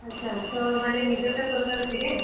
ଆଛା, ମାନେ ନିଜର ଟା କରିବାର ଅଛେ କେଁ?